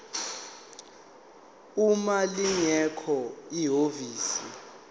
uma lingekho ihhovisi